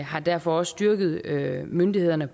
har derfor også styrket myndighederne